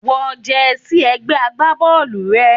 Wọ jersey ẹgbẹ́ agbábọ́ọ̀lù rẹ.